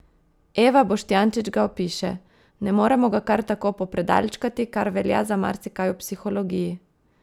Eva Boštjančič ga opiše: "Ne moremo ga kar tako popredalčkati, kar velja za marsikaj v psihologiji.